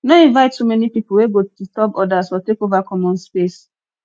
no invite too many people wey go turb others or take over common space